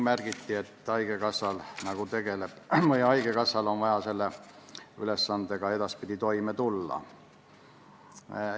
Märgiti, et haigekassal on vaja edaspidi selle ülesandega toime tulla.